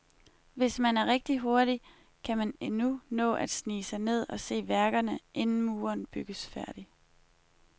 Hvis man er rigtig hurtig, kan man endnu nå at snige sig ind og se værkerne, inden muren bygges færdig.